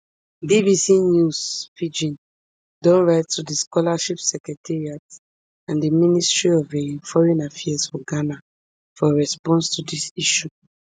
bbc news pidgin don write to di scholarship secretariat and di ministry of um foreign affairs for ghana for response to dis issue